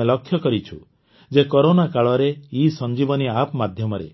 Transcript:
ଆମେ ଲକ୍ଷ୍ୟ କରିଛୁ ଯେ କରୋନା କାଳରେ ଇସଂଜୀବନୀ ଆପ୍ ମାଧ୍ୟମରେ